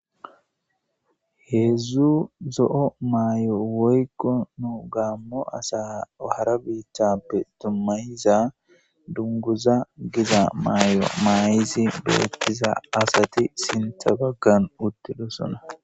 Heedzzu zo'o maayo woykko nu gaammo asa hara biiththappe dummayiza dunguza giza maay'o maay'izi behettiza asati sinta baggan uttido sona.